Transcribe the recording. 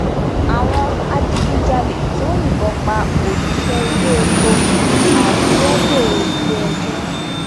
àwọn adigunjalè tó yìnbọn pa òṣìṣẹ iléepo àkúrẹ dèrò iléẹjọ